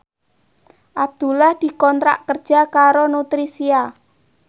Abdullah dikontrak kerja karo Nutricia